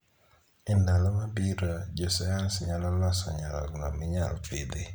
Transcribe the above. Endalo mabiro, jo sayans nyalo loso nyarogno minyal pidhi.